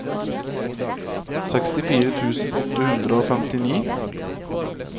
sekstifire tusen åtte hundre og femtini